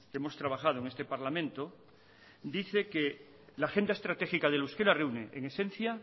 hemos trabajado en este parlamento dice que la agenda estratégica del euskera reúne en esencia